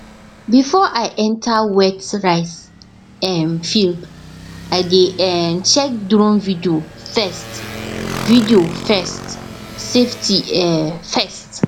before i enter wet rice um field i dey um check drone video first video first safety um first